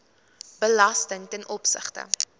belasting ten opsigte